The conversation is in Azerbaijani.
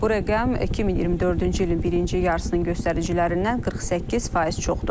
Bu rəqəm 2024-cü ilin birinci yarısının göstəricilərindən 48% çoxdur.